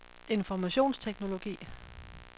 informationsteknologi